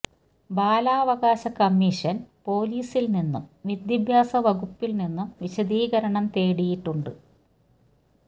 ബാലാവകാശ കമ്മീഷൻ പൊലീസിൽ നിന്നും വിദ്യാഭ്യാസ വകുപ്പിൽ നിന്നും വിശദീകരണം തേടിയിട്ടുണ്ട്